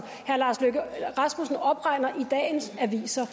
herre lars løkke rasmussen opregner i dagens aviser